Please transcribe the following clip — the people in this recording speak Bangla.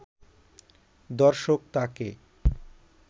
দর্শক তাকে